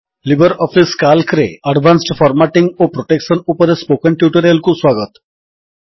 Libre Office କାଲ୍କରେ advanced formatting ଓ protection ଉପରେ ସ୍ପୋକନ୍ ଟ୍ୟୁଟୋରିଆଲ୍ କୁ ସ୍ୱାଗତ